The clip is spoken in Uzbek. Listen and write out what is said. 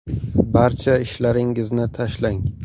Barcha ishlaringizni tashlang.